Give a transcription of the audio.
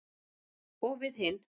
Og við hin.